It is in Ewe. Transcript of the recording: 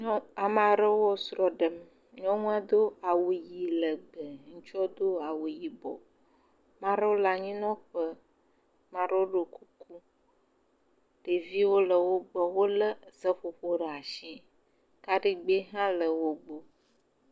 Amea ɖewo srɔ̃ ɖem, nyɔnua do awu ʋɛ̃ legbe, ŋutsua do awu yibɔ, mea ɖewo le anyinɔƒe, mea ɖewo ɖɔ kuku, ɖeviwo le wo gbɔ. Wolé seƒoƒowo ɖe asi, kaɖigbɛ hã le wo gbɔ.